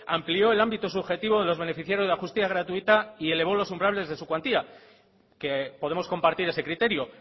amplió el ámbito subjetivo de los beneficiarios de la justicia gratuita y elevó los umbrales de su cuantía que podemos compartir ese criterio